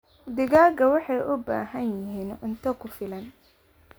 Digaagga waxay u baahan yihiin cunto ku filan.